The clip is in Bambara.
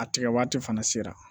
A tigɛ waati fana sera